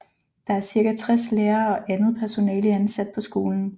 Der er cirka 60 lærere og andet personale ansat på skolen